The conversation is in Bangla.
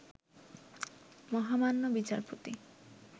মহামান্য বিচারপতি